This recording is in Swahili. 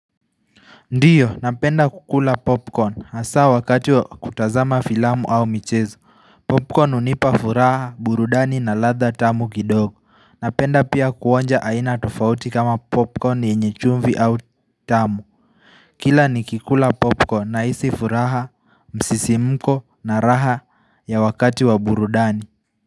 Ndiyo napenda kukula popcorn hasa wakati wa kutazama filamu au michezo popcorn hunipa furaha burudani na ladha tamu kidogo napenda pia kuonja aina tofauti kama popcorn yenye chumvi au tamu kila nikikula popcorn nahisi furaha msisimuko na raha ya wakati wa burudani.